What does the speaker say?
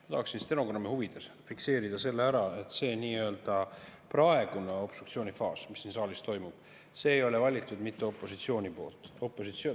Ma tahaksin stenogrammi huvides fikseerida ära selle, et see nii-öelda praegune obstruktsiooni faas, mis siin saalis toimub, ei ole valitud mitte opositsiooni poolt.